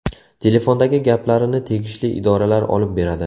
Telefondagi gaplarini tegishli idoralar olib beradi.